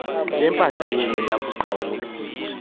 bempahla yenu wakuqhawulwa